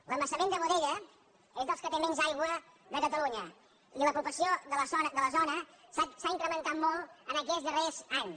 l’embassament de boadella és dels que té menys aigua de catalunya i la població de la zona s’ha incrementat molt en aquests darrers anys